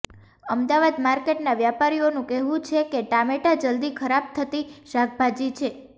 અમદાવાદ માર્કેટના વ્યાપારીઓનું કહેવુ છે કે ટામેટા જલ્દી ખરાબ થતી શાકભાજી છે